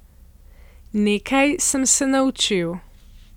Nekaj sem se naučil.